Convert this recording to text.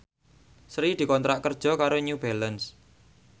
Sri dikontrak kerja karo New Balance